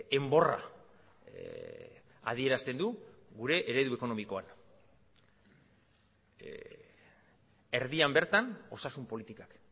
enborra adierazten du gure eredu ekonomikoan erdian bertan osasun politikak